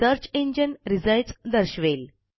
search engine results दर्शवेल